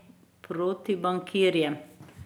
Proti bankirjem?